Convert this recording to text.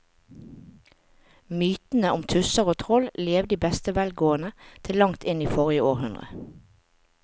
Mytene om tusser og troll levde i beste velgående til langt inn i forrige århundre.